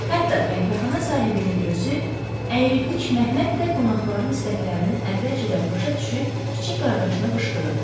Hətta qəhvəxana sahibinin özü əyri qıç Məhəmməd də qonaqların istəklərini əvvəlcədən başa düşüb kiçik qardaşına qışqırırdı.